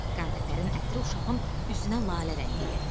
Qantəpərin ətri uşağın üzünə lalə rəngi gətirir.